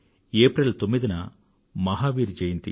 April 9వ తేదీన మహావీర్ జయంతి